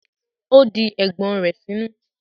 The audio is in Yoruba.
ó di ẹ̀gbọ́n rẹ̀ sínú.